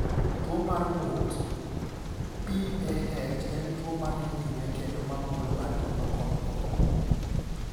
Tuwo mar ng’ut (PAH) en tuwo ma dhi nyime kendo ma mulo adundo kod obo.